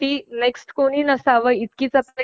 आणि जरी तुला काही प्रॉब्लेम असेल